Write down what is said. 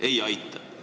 Ei aita!